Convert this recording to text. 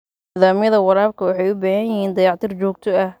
Nidaamyada waraabka waxay u baahan yihiin dayactir joogto ah.